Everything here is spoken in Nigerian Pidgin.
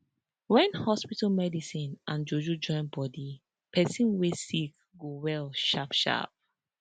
wen hospital medicine and juju join bodi pesin wey sick go well sharp sharp